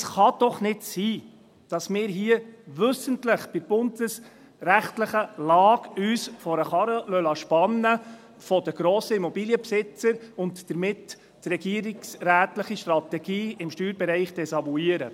Es kann doch nicht sein, dass wir uns hier – bei dieser bundesrechtlichen Lage – wissentlich von den grossen Immobilienbesitzern vor den Karren spannen lassen und damit die regierungsrätliche Strategie im Steuerbereich desavouieren.